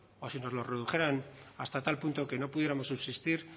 o si nos lo redujeran hasta tal punto que no pudiéramos subsistir